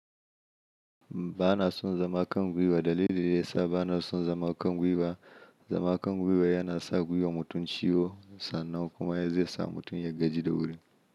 Ba na son zama kangwiwa. Dalilin da ya sa ba na son zama kangwiwa, zama kangwiwa yana sa gwiwar mutum ciwo sannan kuma ya zai sa mutum ya gaji da wuri.